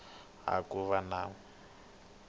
twisiseka na ku va na